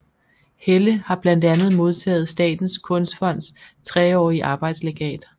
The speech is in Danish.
Helle har blandt andet modtaget Statens Kunstfonds treårige arbejdslegat